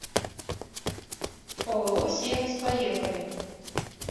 ооо сервис поехали